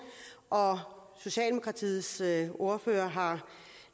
og socialdemokratiets ordfører har